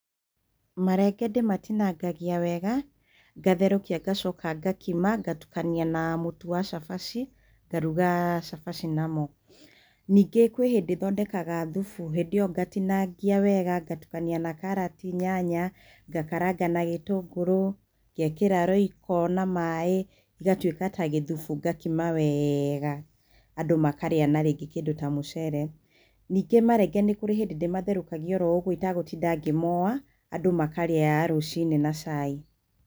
Marenge ndĩmatinangagia wega, ngatherũkia ngacoka ngakima ngatukania na mũtu wa cabaci, ngaruga cabaci namo. Ningĩ kwĩ hĩndĩ thondekaga thubu. Hĩndĩ ĩyo ngatinangia wega ngatukania na karati, nyanya, ngakaranga na gĩtũngũrũ, ngekĩra roiko na maĩ, igatuĩka ta gĩthubu ngakima weeega andũ makarĩa na rĩngĩ kĩndũ ta mũcere. Ningĩ marenge nĩ kũrĩ hĩndĩ ndĩmatherũkagia oro ũguo itagũtinda ngĩmoa, andũ makarĩa rũcinĩ na cai.